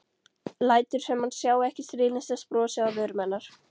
Lætur sem hann sjái ekki stríðnislegt brosið á vörum hennar.